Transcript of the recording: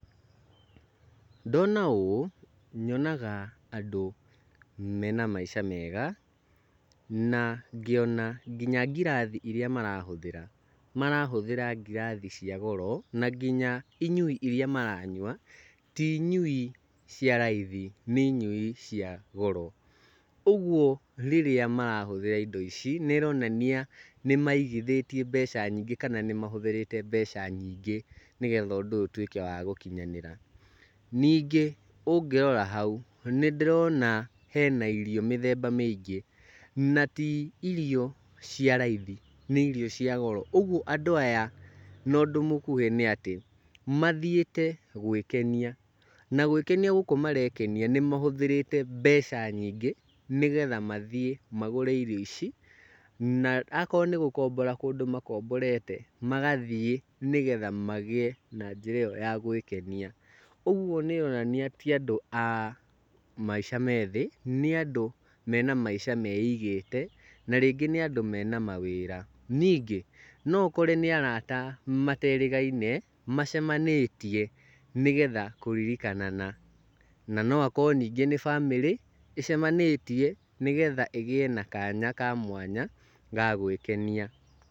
Ndona ũũ, nyonaga andũ mena maica mega na ngĩona nginya ngirathi iria marahũthĩra, marahũthĩra ngirathi cia goro, na nginya inyui iria maranyua ti inyui cia raithi nĩ inyui cia goro. Ũguo rĩrĩa marahũthĩra indo ici, nĩ ĩronania nĩ maigithĩie mbeca nyingĩ kana nĩ mahũthĩrĩte mbeca nyingĩ nĩgetha ũndũ ũyũ ũtuĩke wa gũkinyanĩra. Ningĩ ũngĩrora hau nĩndĩrona hena irio mĩthemba mĩingĩ, na ti irio cia raithi, nĩ irio cia goro ũguo andũ aya na ũndũ mũkuhĩ nĩ atĩ mathiĩte gwĩkenia, na gwĩkenia gũkũ marekenia nĩmahũthĩrĩte mbeca nyingĩ nĩgetha mathiĩ magũre irio ici, na akorwo nĩ gũkombora kũndũ makomborete, magathiĩ nĩgetha magĩe na njĩra ĩyo ya gwĩkenia. Ũguo nĩ ĩronania ti andũ a maica me thĩ, nĩ andũ mena maica meigĩte na rĩngĩ nĩ andũ mena mawĩra. Ningĩ, no ũkore nĩ arata mateĩrĩgaine macemanĩtie nĩgetha kũririkanana. Na no akorwo ningĩ nĩ bamĩrĩ ĩcemanĩtie nĩgetha ĩgĩe na kanya ka mwanya ga gwĩkenia.